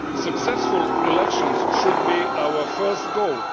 Successful elections should be our first goal.